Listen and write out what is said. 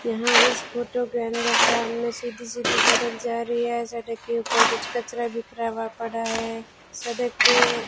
यहां इस फोटो के अंदर सामने सीधी सीधी सड़क जा रही है सड़क के ऊपर कुछ कचड़ा बिखरा हुआ है सड़क के --